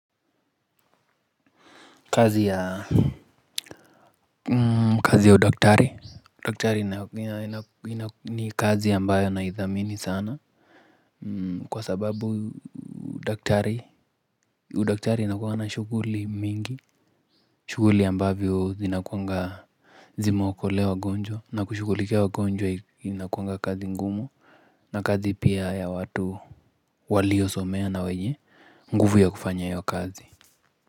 Kazi ya kazi ya udaktari udaktari ni kazi ambayo na idhamini sana. Kwa sababu udaktari udaktari inakuwa na shughuli mingi. Shuguli ambavyo zinakuanga zinaokolea wagonjwa na kushugulikia wagonjwa inakuanga kazi ngumu. Na kazi pia ya watu waliosomea na wenye nguvu ya kufanya hiyo kazi. Kwa hivyo.